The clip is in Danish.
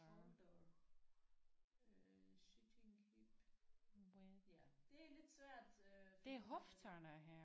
Shoulder øh sitting hip ja det er lidt svært øh at finde ud af